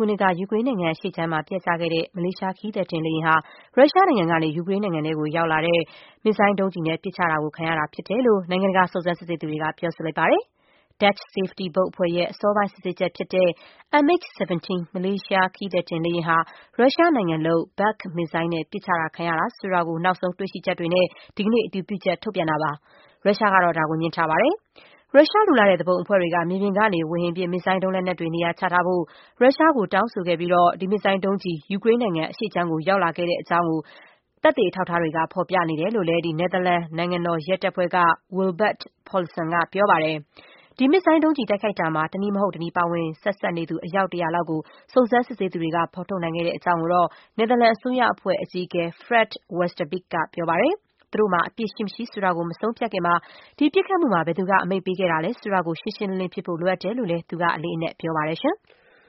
ုနှစ်က ယူကရိန်းနိုင်ငံ အရှေ့ခြမ်းမှာ ပျက်ကျခဲ့တဲ့ မလေးရှား ခရီးသည်တင်လေယာဉ်ဟာ ရုရှားနိုင်ငံကနေ ယူကရိန်းနိုင်ငံထဲကို ရောက်လာတဲ့ မစ်ဇိုင်းဒုံးကျည်နဲ့ ပစ်ချခံရတာ ဖြစ်တယ်လို့ နိုင်ငံတကာ စုံစမ်းစစ်ဆေးသူတွေက ပြောဆိုလိုက်ပါတယ်။ Dutch Safety ဘုတ်အဖွဲ့ရဲ့ အစောပိုင်း စုံစမ်းစစ်ဆေးချက်ဖြစ်တဲ့ MH17 မလေးရှား ခရီးသည်တင်လေယာဉ်ဟာ ရုရှားနိုင်ငံလုပ် Buk မစ်ဇိုင်းနဲ့ ပစ်ချခံခဲ့ရတာ ဆိုတာကို နောက်ဆုံး တွေ့ရှိချက်တွေနဲ့ ဒီကနေ့ အတည်ပြုချက် ထုတ်ပြန်တာပါ။ ရုရှားကတော့ ဒါကို ငြင်းထားပါတယ်။ ရုရှားလိုလားတဲ့ သူပုန်အဖွဲ့တွေက မြေပြင်ကနေ ဝေဟင်ပစ် မစ်ဇိုင်းဒုံးလက်နက်တွေ နေရာချထားဖို့ ရုရှားကို တောင်းဆိုခဲ့ပြီး ဒီမစ်ဇိုင်း ဒုံးကျည် ယူကရိန်းနိုင်ငံ အရှေ့ခြမ်းကို ရောက်လာခဲ့တဲ့အကြောင်း သက်သေအထောက်အထားတွေက ဖော်ပြနေတယ်လို့ နယ်သာလန် နိုင်ငံတော်ရဲတပ်ဖွဲ့ က Wilbert Paulissen ကပြောပါတယ်။ ဒီမစ်ဇိုင်း ဒုံးကျည် တိုက်ခိုက်မှာ တနည်းမဟုတ်တနည်း ဆက်စပ်ပါဝင်နေသူ အယောက် ၁၀၀ လောက်ကို စုံစမ်းစစ်ဆေးသူတွေ က ဖော်ထုတ်ခဲ့တဲ့အကြောင်း ကိုတော့ နယ်သာလန် အစိုးရရှေ့နေအဖွဲ့ အကြီးအကဲ Fred Westerbeke က ပြောပါတယ်။ သူတို့မှာ အပြစ်ရှိမရှိ ဆိုတာကို မဆုံးဖြတ်ခင်မှာ ဒီပစ်ခတ်မှုမှာ ဘယ်သူက အမိန့်ပေးခဲ့တာလဲ ဆိုတာကို ရှင်းရှင်းလင်းလင်း ဖြစ်ဖို့ လိုအပ်တယ်လို့လည်း သူက အလေးအနက် ပြောပါတယ်။